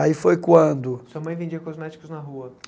Aí foi quando... Sua mãe vendia cosméticos na rua.